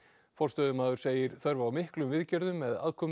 forstöðumaður segir þörf á miklum viðgerðum með aðkomu